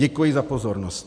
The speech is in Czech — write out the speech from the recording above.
Děkuji za pozornost.